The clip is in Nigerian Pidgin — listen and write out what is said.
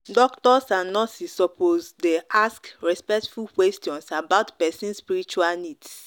doctors and nurses suppose dey ask respectful questions about person spiritual needs.